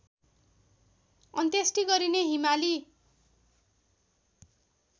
अन्त्येष्टि गरिने हिमाली